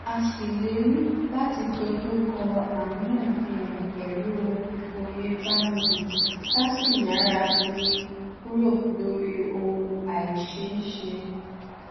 a ṣèlérí láti dojú kọ àríyànjiyàn pẹlú ìfòyebánilò ká sì yára fi kúrò lórí ohun àìṣeéṣe